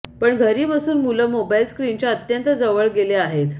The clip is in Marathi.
पण घरी बसून मुलं मोबाईल स्क्रीनच्या अत्यंत जवळ गेले आहेत